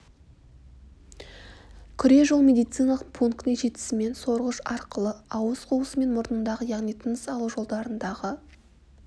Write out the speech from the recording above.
күре жол медициналық пунктіне жетісімен сорғыш арқылы ауыз қуысы мен мұрнындағы яғни тыныс алу жолдарындағы